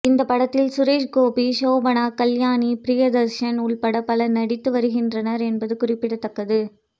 இந்த படத்தில் சுரேஷ்கோபி சோபனா கல்யாணி பிரியதர்ஷன் உள்பட பலர் நடித்து வருகின்றனர் என்பது குறிப்பிடத்தக்கது